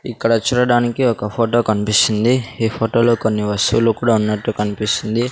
ఇక్కడ చూడడానికి ఒక ఫొటో కన్పిస్తుంది ఈ ఫోటోలో కొన్ని వస్తువులు కూడా ఉన్నట్టు కన్పిస్తుంది.